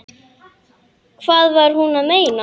Hvað var hún að meina?